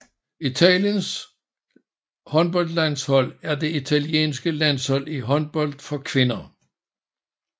Italiens håndboldlandshold er det italienske landshold i håndbold for kvinder